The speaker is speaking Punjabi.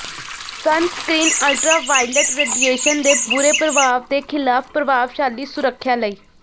ਸਨਸਕ੍ਰੀਨ ਅਲਟਰਾਵਾਇਲਟ ਰੇਡੀਏਸ਼ਨ ਦੇ ਬੁਰੇ ਪ੍ਰਭਾਵ ਦੇ ਖਿਲਾਫ ਪ੍ਰਭਾਵਸ਼ਾਲੀ ਸੁਰੱਖਿਆ ਲਈ